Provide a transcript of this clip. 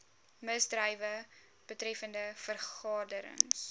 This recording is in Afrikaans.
misdrywe betreffende vergaderings